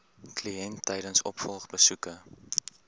kliënt tydens opvolgbesoeke